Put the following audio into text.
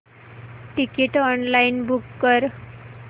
ticket online book कर